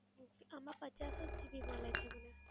આમાં પચાસ જ GB મલે છે મને.